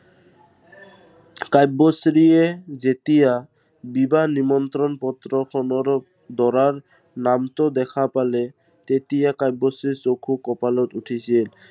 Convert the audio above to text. কাব্যশ্ৰীয়ে যেতিয়া, বিবাহ নিমন্ত্ৰণ পত্ৰখনৰ দৰাৰ নামটো দেখা পালে, তেতিয়া কাব্যশ্ৰীৰ চকু কপালত উঠিছিল।